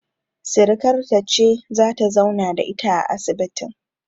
Sirikarta ce zata zauna da ita a asibitin